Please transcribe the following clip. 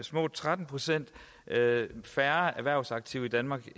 små tretten procent færre erhvervsaktive i danmark